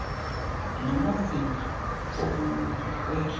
namazinga okunyuka nokwehla